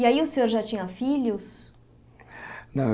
E aí o senhor já tinha filhos?